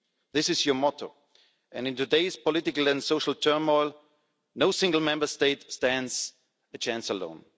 This is your motto, and in today's political and social turmoil, no single Member State stands a chance alone.